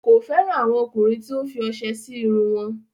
Kò fẹran àwọn ọ̀kùnrin tí o fì ose sí irùn wọn.